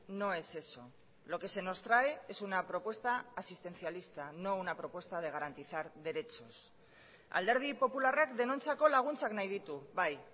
no es eso lo que se nos trae es una propuesta asistencialista no una propuesta de garantizar derechos alderdi popularrak denontzako laguntzak nahi ditu bai